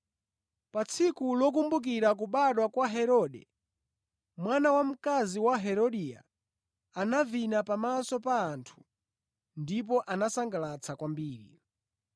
Pa tsiku lokumbukira kubadwa kwa Herode, mwana wamkazi wa Herodia anavina pamaso pa anthu ndipo anasangalatsa kwambiri.